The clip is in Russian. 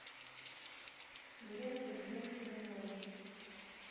елену сергеевну смирнову